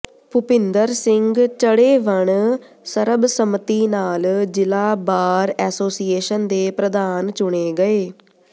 ਭੁਪਿੰਦਰ ਸਿੰਘ ਚੜ੍ਹੇਵਣ ਸਰਬਸੰਮਤੀ ਨਾਲ ਜ਼ਿਲ੍ਹਾ ਬਾਰ ਐਸੋਸੀਏਸ਼ਨ ਦੇ ਪ੍ਰਧਾਨ ਚੁਣੇ ਗਏ